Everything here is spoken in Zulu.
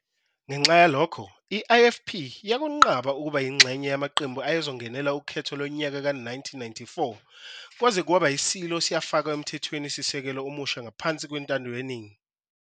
Ngenxa yalokho, i-IFP yakunqaba ukuba ingxenye yamaqembu ayezongenela ukhetho lonyaka ka-1994 kwaze kwaba iSilo siyafakwa emthethweni sisekelo omusha ngaphansi kwentando yeningi.